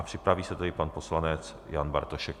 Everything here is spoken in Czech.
A připraví se tedy pan poslanec Jan Bartošek.